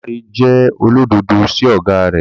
Damilare jẹ́ olódodo sí ọ̀gá rẹ̀.